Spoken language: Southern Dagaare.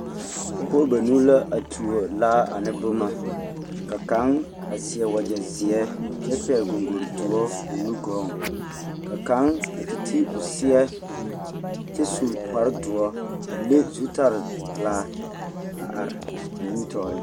Pɔgebɔ banuu la a tuo laa ane boma ka kaŋ a seɛ wagyɛ zeɛ kyɛ pɛgli goŋgore doɔ o nu gɔɔŋ ka kaŋ a gaa te ti o seɛ kyɛ su kparredoɔ a le zutalpelaa a are a nimitɔɔreŋ.